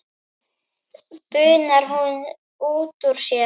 bunar hún út úr sér.